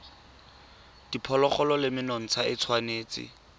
diphologolo le menontsha e tshwanetse